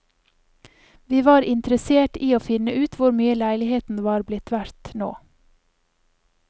Vi var interessert i å finne ut hvor mye leiligheten er blitt verdt nå.